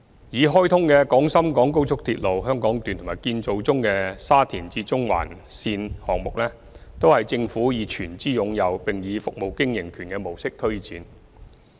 已開通的廣深港高速鐵路香港段和建造中的沙中線項目，均由政府全資擁有並以服務經營權模式推展。